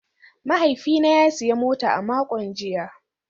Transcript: Mahaifina ya sayi mota a makon jiya